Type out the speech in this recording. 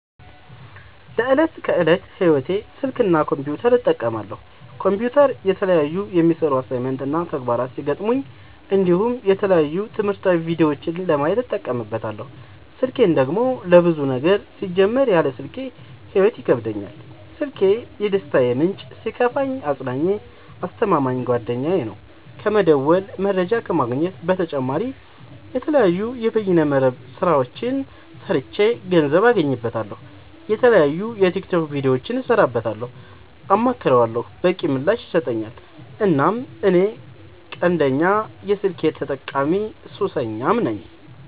ለዕት ከዕለት ህይወቴ ስልክ እና ኮምፒውተር እጠቀማለሁ። ኮምፒውተር የተለያዩ የሚሰሩ አሳይመንት እና ተግባራት ሲገጥሙኝ እንዲሁም የተለያዩ ትምህርታዊ ቪዲዮዎችን ለማየት እጠቀምበታለው። ስልኬን ደግሞ ለብዙ ነገር ሲጀመር ያለ ስልኬ ህይወት ይከብደኛል። ስልኪ የደስታዬ ምንጭ ሲከፋኝ አፅናኜ አስተማማኝ ጓደኛዬ ነው። ከመደወል መረጃ ከመግኘት በተጨማሪ የተለያዩ የበይነ መረብ ስራዎችን ሰርቼ ገንዘብ አገኝበታለሁ። የተለያዩ የቲክቶክ ቪዲዮዎችን እሰራበታለሁ አማክረዋለሁ። በቂ ምላሽ ይሰጠኛል እናም እኔ ቀንደኛ የስልክ ተጠቀሚና ሱሰኛም ነኝ።